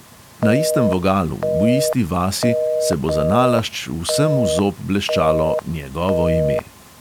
Na istem vogalu, v isti vasi, se bo zanalašč vsem v zob bleščalo njegovo ime.